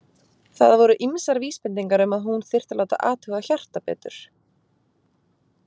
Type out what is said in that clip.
Það voru ýmsar vísbendingar um að hún þyrfti að láta athuga hjartað betur.